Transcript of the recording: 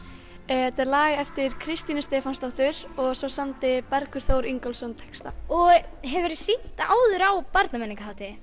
þetta er lag eftir Kristínu Stefánsdóttur og svo samdi Bergur Þór Ingólfsson textann og hefurðu sýnt það áður á